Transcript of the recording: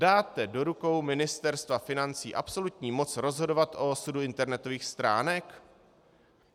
Dáte do rukou Ministerstva financí absolutní moc rozhodovat o osudu internetových stránek?